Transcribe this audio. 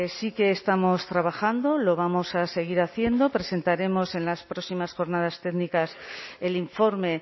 sí que estamos trabajando lo vamos a seguir haciendo presentaremos en las próximas jornadas técnicas el informe